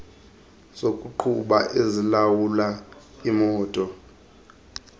zokuqhuba ezilawula imoto